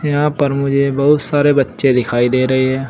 यहां पर मुझे बहुत सारे बच्चे दिखाई दे रहे हैं।